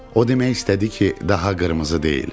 O demək istədi ki, daha qırmızı deyil.